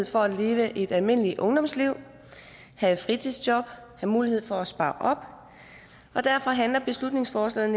for at leve et almindeligt ungdomsliv have et fritidsjob have mulighed for at spare op og derfor handler beslutningsforslaget